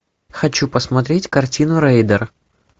хочу посмотреть картину рейдер